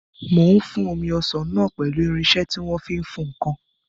Mò ń fún omi ọsàn náà pẹ̀lú irinsẹ́ tí wọ́n fi ń fún ǹkan